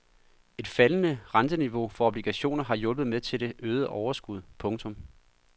Et faldende renteniveau for obligationer har hjulpet med til det øgede overskud. punktum